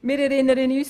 Wir erinnern uns: